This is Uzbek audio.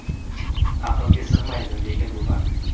Aqlga sig‘maydi, lekin bu fakt.